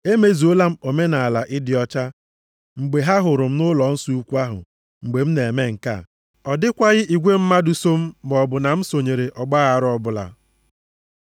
Emezuola m omenaala ịdị ọcha mgbe ha hụrụ m nʼụlọnsọ ukwu ahụ mgbe m na-eme nke a. Ọ dịkwaghị igwe mmadụ so m maọbụ na m sonyere ọgbaaghara ọbụla.